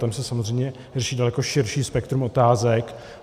Tam se samozřejmě vrší daleko širší spektrum otázek.